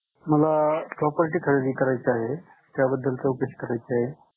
मला property खरेदी करायची आहे, त्याबद्दल चौकशी करायची आहे.